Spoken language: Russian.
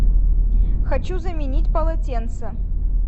хочу заменить полотенца